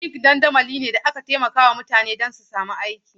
Linkedln dandamali ne da aka ƙera don taimakawa mutane su sami aiki.